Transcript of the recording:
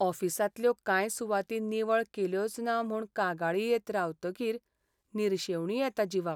ऑफिसांतल्यो कांय सुवाती निवळ केल्योच ना म्हूण कागाळी येत रावतकीर निर्शेवणी येता जिवाक.